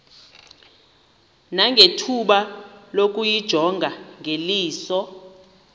nangethuba lokuyijonga ngeliso